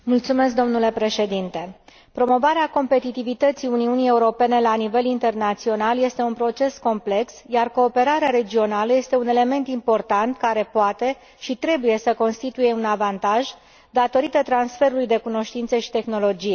Domnule președinte, promovarea competitivității Uniunii Europene la nivel internațional este un proces complex, iar cooperarea regională este un element important, care poate și trebuie să constituie un avantaj, datorită transferului de cunoștințe și tehnologie.